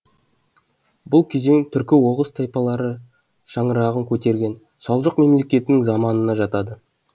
бұл кезең түркі оғыз тайпалары шаңырағын көтерген салжұқ мемлекетінің заманына жатады